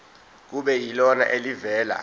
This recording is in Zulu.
kube yilona elivela